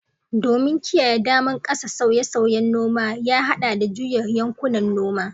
Domin kiyaye daman ƙasa, sauye-sauyen noma ya haɗa da juya yankunan noma.